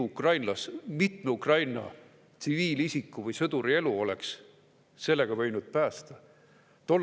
Mitme Ukraina tsiviilisiku või sõduri elu oleks sellega võinud päästa?